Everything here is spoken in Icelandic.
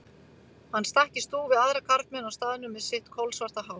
Hann stakk í stúf við aðra karlmenn á staðnum með sitt kolsvarta hár.